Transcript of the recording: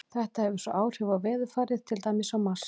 Þetta hefur svo áhrif á veðurfarið, til dæmis á Mars.